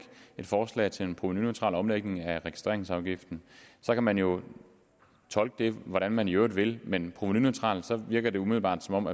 forslag til en provenuneutral omlægning af registreringsafgiften så kan man jo tolke det hvordan man i øvrigt vil men provenuneutral virker det umiddelbart som om